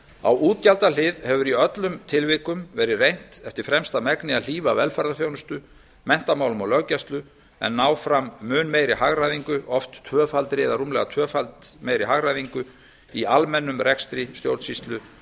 á útgjaldahlið hefur í öllum tilvikum verið reynt eftir fremsta megni að hlífa velferðarþjónustu menntamálum og löggæslu en ná fram mun meiri hagræðingu oft tvöfaldri eða rúmlega það í almennum rekstri stjórnsýslu